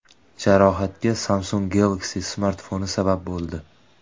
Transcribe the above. Jarohatga Samsung Galaxy smartfoni sabab bo‘ldi.